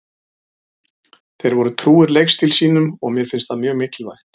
Þeir voru trúir leikstíl sínum og mér finnst það mjög mikilvægt.